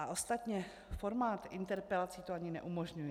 A ostatně, formát interpelací to ani neumožňuje.